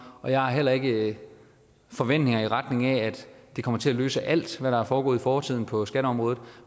og jeg har heller ikke forventninger i retning af at det kommer til at løse alt hvad der er foregået i fortiden på skatteområdet